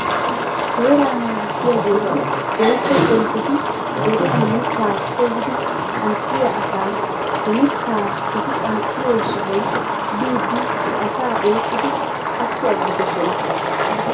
Seeraa naagissiyaageeti woykko poliseti deriyan mittaa coogidi qanxxiyaa asaa he miitta eti qanxxiyoo sohuwaa biidi he asaa oyqqidi qachchi aggidosona